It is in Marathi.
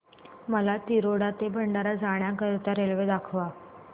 मला तिरोडा ते भंडारा जाण्या करीता रेल्वे दाखवा